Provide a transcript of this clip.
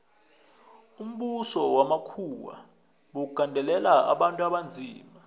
umbuso wamakhuwa bewugandelela abantu abanzima